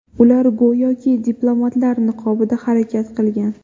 Ular go‘yoki diplomatlar niqobida harakat qilgan.